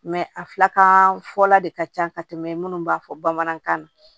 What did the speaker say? a filakan fɔla de ka ca ka tɛmɛ minnu b'a fɔ bamanankan na